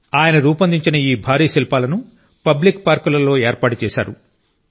ఆయన రూపొందించిన ఈ భారీ శిల్పాలను పబ్లిక్ పార్కులలో ఏర్పాటు చేశారు